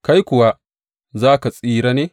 Kai kuwa za ka tsira ne?